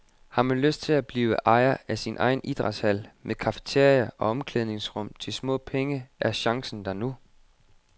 Har man lyst til at blive ejer af sin egen idrætshal med cafeteria og omklædningsrum til små penge er chancen der nu.